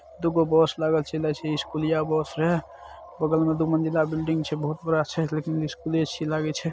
दू गो बस लागल छे स्कूलिया बस है बगल में दो मंज़िला बिल्डिंग छे बहुत बड़ा स्कूले ए_सी लागल छे।